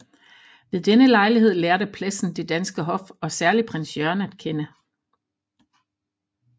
Ved denne lejlighed lærte Plessen det danske hof og særlig Prins Jørgen at kende